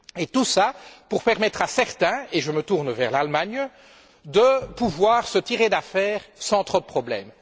Tout cela pour permettre à certains, et je me tourne vers l'Allemagne, de pouvoir se tirer d'affaire sans trop de problème.